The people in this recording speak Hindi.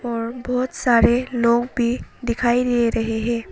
और बहोत सारे लोग भी दिखाई दे रहे हैं।